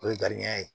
O ye garibuya ye